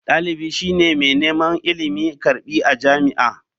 Dalibi shi ne mai neman ilimi/karbi a jami'a.